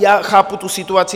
Já chápu tu situaci.